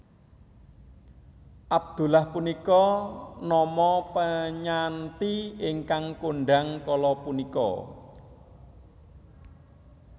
Abdullah punika nama penyanti ingkang kondhang kala punika